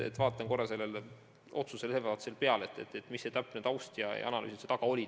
Ma vaatan korra sellele otsusele veel peale ja uurin, mis taust ja analüüsid selle taga olid.